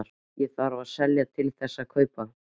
Þarf ég að selja til þess að kaupa?